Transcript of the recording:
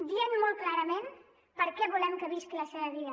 dient molt clarament per què volem que visqui la seva vida